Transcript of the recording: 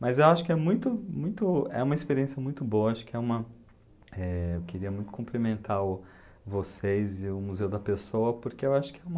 Mas eu acho que é muito muito, uma experiência muito boa, acho que é uma, eh, eu queria muito cumprimentar o vocês e o Museu da Pessoa, porque eu acho que é uma...